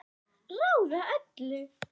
Ráða öllu?